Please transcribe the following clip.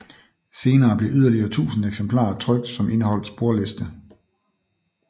Senere blev yderligere 1000 eksemplarer trykt som indeholdt sporliste